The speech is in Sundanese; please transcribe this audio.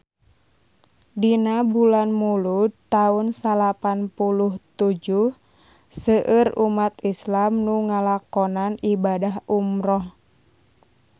Dina bulan Mulud taun salapan puluh tujuh seueur umat islam nu ngalakonan ibadah umrah